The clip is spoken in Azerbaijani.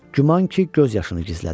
Güman ki, göz yaşını gizlədirdi.